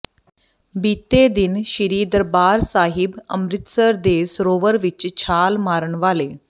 ਬੀਤੇ ਦਿਨ ਸ੍ਰੀ ਦਰਬਾਰ ਸਾਹਿਬ ਅਮਿ੍ਰਤਸਰ ਦੇ ਸਰੋਵਰ ਵਿਚ ਛਾਲ ਮਾਰਨ ਵਾਲੇ